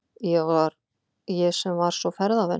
Ég sem var svo ferðavön.